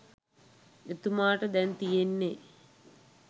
එතුමාට දැන් තියෙන්නේ